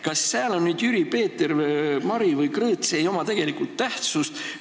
Kas sääl on nüüd Jüri, Peeter, Mari või Krõõt – see ei oma tegelikult tähtsust.